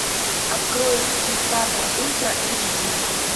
открой диктатор ультра эйч ди